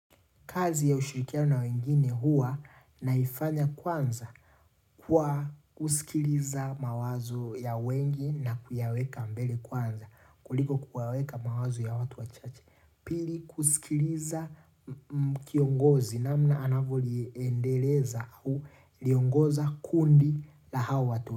Kazi ya ushirikiano na wengine hua naifanya kwanza kwa kusikiliza mawazo ya wengi na kuyaweka mbele kwanza. Kuliko kuyaweka mawazo ya watu wachache. Pili kusikiliza kiongozi namna anavoliendeleza huliongoza kundi la hawa watu.